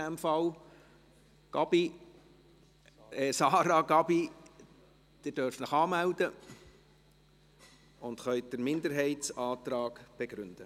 Sarah Gabi, Sie dürfen sich anmelden und können den Minderheitsantrag begründen.